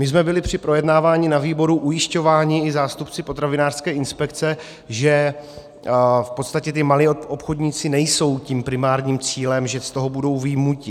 My jsme byli při projednávání ve výboru ujišťováni i zástupci potravinářské inspekce, že v podstatě ti malí obchodníci nejsou tím primárním cílem, že z toho budou vyjmuti.